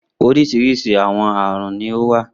Oríṣiríṣi àwọn àrùn ni ó wà.